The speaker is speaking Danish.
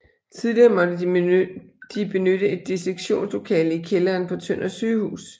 Tidligere måtte de benytte et dissektionslokale i kælderen på Tønder Sygehus